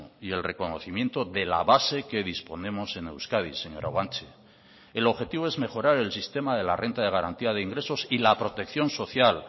y el reconocimiento de la base que disponemos en euskadi señora guanche el objetivo es mejorar el sistema de la renta de garantía de ingresos y la protección social